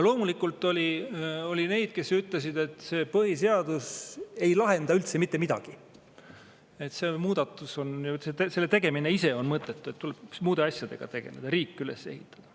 Loomulikult oli neid, kes ütlesid, et põhiseadus ei lahenda üldse mitte midagi, et selle muudatuse tegemine on mõttetu, tuleks muude asjadega tegeleda, riik üles ehitada.